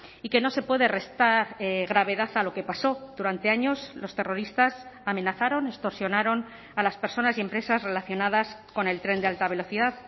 y que no se puede restar gravedad a lo que pasó durante años los terroristas amenazaron extorsionaron a las personas y empresas relacionadas con el tren de alta velocidad